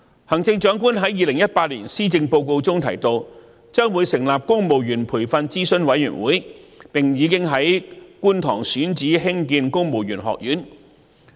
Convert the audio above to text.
行政長官在2018年施政報告中提到，將會成立公務員培訓諮詢委員會，並已經在觀塘選址興建公務員學院。